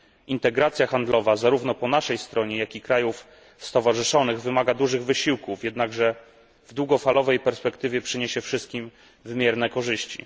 Integracja handlowa zarówno po naszej stronie, jak i po stronie krajów stowarzyszonych wymaga dużych wysiłków, jednakże w długofalowej perspektywie przyniesie wszystkim wymierne korzyści.